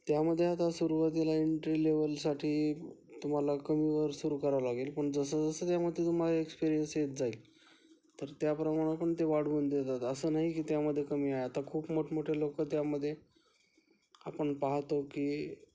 त्या मध्ये आता सुरुवातीला एंट्री लेव्हल साठी तुम्हाला कमी वर सुरू करावे लागेल पण जसं जसं त्यामध्ये तुम्हाला एक्सपीरिअन्स येत जाईल तर त्या प्रमाणे वाढवून देतात असं नाही कि त्यामध्ये खूप कमी आहे, आता खूप मोठमोठे लोकं त्यामध्ये आपण पाहतो कि